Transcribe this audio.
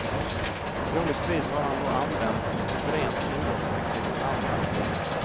Troligtvis har han då använts som ett rent inbrottsverktyg åt andra.